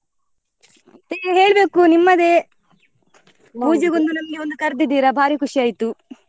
ಮತ್ತೆ ಹೇಳ್ಬೇಕು ನಿಮ್ಮದೇ ನಮ್ಮನ್ನು ಕರ್ದಿದ್ದೀರಾ ಬಾರಿ ಖುಷಿ ಆಯ್ತು.